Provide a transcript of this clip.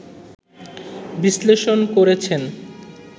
বিশ্লেষণ করেছেন